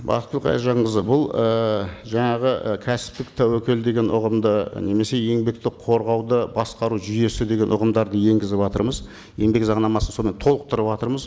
бақытгүл қайыржанқызы бұл ііі жаңағы і кәсіптік тәуекел деген ұғымды немесе еңбекті қорғауды басқару жүйесі деген ұғымдарды енгізіватырмыз еңбек заңнамасын сонымен толықтырыватырмыз